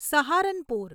Saharanpur